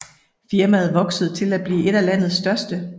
Firmaet voksede til at blive et af landets største